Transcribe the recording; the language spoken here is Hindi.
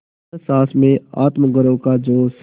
न सास में आत्मगौरव का जोश